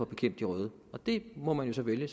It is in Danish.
bekæmpe de røde og det må man jo så vælge